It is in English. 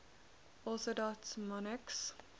orthodox monarchs